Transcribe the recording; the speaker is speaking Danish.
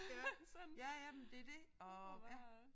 Ja ja ja men det det og ja